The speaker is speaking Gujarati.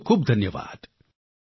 ખૂબખૂબ ધન્યવાદ